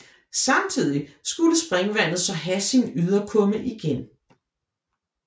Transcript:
Samtidig skulle springvandet så have sin yderkumme igen